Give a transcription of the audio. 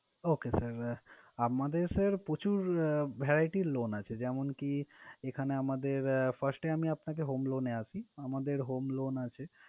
Okay sir আমাদের sir প্রচুর variety loan আছে। যেমনকি এখানে আমাদের first এ আমি আপনাকে home loan এ আসি, আমাদের home loan আছে।